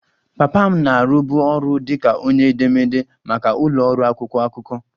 Papa m na-arụbu ọrụ dị ka onye edemede maka ụlọ ọrụ akwụkwọ akụkọ